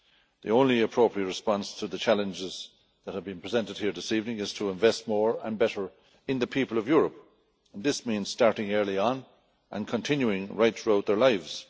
The only appropriate response to the challenges that have been presented here this evening is to invest more and better in the people of Europe, and this means starting early on and continuing right throughout their lives.